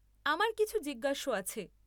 আমার কিছু জিজ্ঞাস্য আছে।